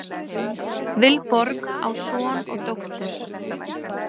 Vilborg á son og dóttur.